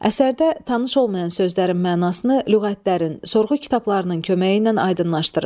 Əsərdə tanış olmayan sözlərin mənasını lüğətlərin, sorğu kitablarının köməyi ilə aydınlaşdırın.